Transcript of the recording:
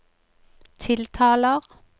tiltaler